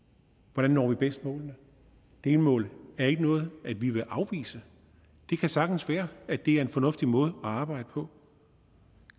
hvordan når vi bedst målene delmål er ikke noget vi vil afvise det kan sagtens være at det er en fornuftig måde at arbejde på